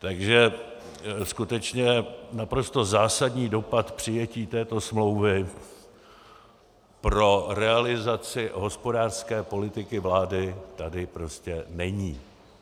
Takže skutečně naprosto zásadní dopad přijetí této smlouvy pro realizaci hospodářské politiky vlády tady prostě není.